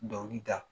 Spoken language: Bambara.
Dɔnkili da